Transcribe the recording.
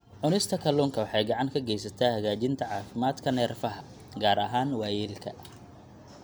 Cunista kalluunka waxay gacan ka geysataa hagaajinta caafimaadka neerfaha, gaar ahaan waayeelka.